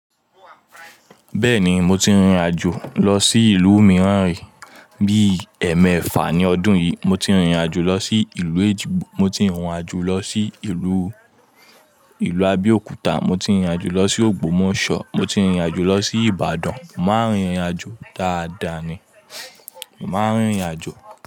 Bẹ́ẹ̀ ni, mo ti rìnrìn àjò lọ sí ìlú mìíràn rí. Bí i ẹ̀ẹ̀mẹ́fà ní ọdún yìí. Mo ti rìnrìn àjò lọ sí ìlú Ejigbo, mo ti rìn ìrìn àjò lọ sí ìlú, ìlú Abéòkúta, mo ti rìnrìn àjò lọ sí Ògbómọ̀ṣọ́, mo ti rìnrìn àjò lọ sí Ìbàdàn. Mo máa ń rìnrìn àjò dáadáa ni. Mo máa ń rìnrìn àjò.